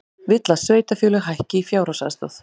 Vill að sveitarfélög hækki fjárhagsaðstoð